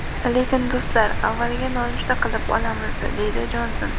Lekin do‘stlar avvaliga nonushta qilib olamiz”, – deydi Jonson.